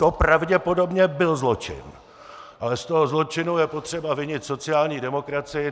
To pravděpodobně byl zločin, ale z toho zločinu je potřeba vinit sociální demokracii.